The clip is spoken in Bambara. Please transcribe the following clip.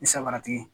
Ni sabaratigi ye